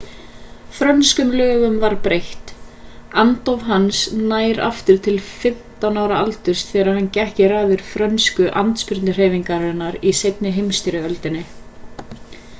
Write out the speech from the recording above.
frönskum lögum var breytt andóf hans nær aftur til 15 ára aldurs þegar hann gekk í raðir frönsku andspyrnuhreyfingarinnar í seinni heimsstyrjöldinni